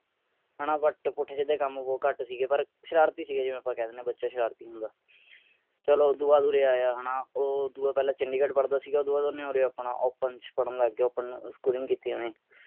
UT ਪੁੱਠੇ ਸਿਧੇ ਕੰਮ ਬਹੁਤ ਘੱਟ ਸੀਗੇ ਪਰ ਸ਼ਰਾਰਤੀ ਸੀਗੇ ਜਿਵੇਂ ਆਪਾਂ ਕਹਿ ਦਿੰਦੇ ਹਾਂ ਬੱਚਾ ਸ਼ਰਾਰਤੀ ਹੁੰਦਾ। ਚਲੋ ਉਸਤੋਂ ਬਾਅਦ ਉਰੇ ਆਇਆ ਹੈ ਨਾ ਉਹ ਦੁਆ ਪਹਿਲਾਂ ਚੰਡੀਗੜ੍ਹ ਪਢ਼ਦਾ ਸੀਗਾ ਉਸਤੋਂ ਬਾਅਦ ਉਰੇ ਉਰਾ ਆਪਣਾ open ਚ ਪਢ਼ਨ ਲੱਗ ਗਿਆ open schooling ਕੀਤੀਆਂ ਨੇ।